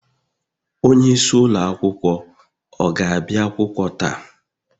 onyeisi ụlọ akwụkwọ ọ ga-abịa akwụkwọ taa?